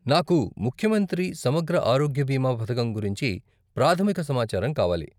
నాకు ముఖ్యమంత్రి సమగ్ర ఆరోగ్య బీమా పథకం గురించి ప్రాథమిక సమాచారం కావాలి.